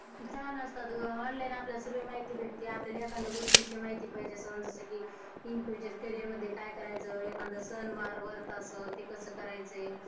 छान असतात ग, Online आपल्याला सगळी माहिती भेटते एकाद्या गोष्टी ची माहिती पाहिजे असेल तर. in future career मध्ये आपल्याला काय करायचय एखाद सण वार व्रत कस करायचय?